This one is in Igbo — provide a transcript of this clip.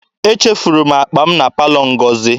Echefuru m akpa m na palọ Ngozi.